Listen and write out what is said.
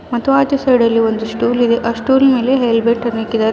ಮತ್ತು ಆಚೆ ಸೈಡಲ್ಲಿ ಒಂದು ಸ್ಟೂಲ್ ಇದೆ ಆ ಸ್ಟೂಲಿನಲ್ಲಿ ಹೆಲ್ಮೆಟ್ ಅನ್ನು ಇಕ್ಕಿದ್ದಾರೆ.